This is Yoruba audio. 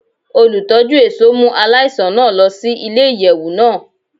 Olutọju ẹṣọ mu alaisan naa lọ si ile-iyẹwu naa